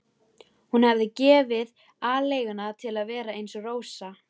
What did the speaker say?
Hún hefði gefið aleiguna til að vera eins og Rósa.